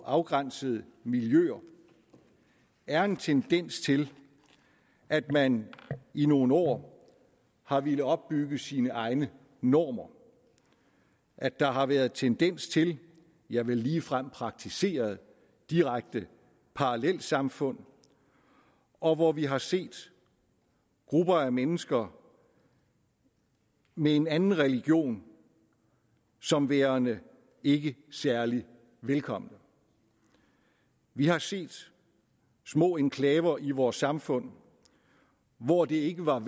afgrænsede miljøer er en tendens til at man i nogle år har villet opbygge sine egne normer at der har været tendens til ja vel ligefrem praktiseret direkte parallelsamfund og hvor vi har set grupper af mennesker med en anden religion som værende ikke særlig velkomne vi har set små enklaver i vores samfund hvor det ikke var